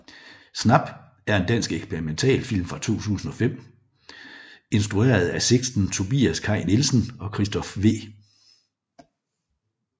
Snap er en dansk eksperimentalfilm fra 2005 instrueret af Sixten Tobias Kai Nielsen og Christophe V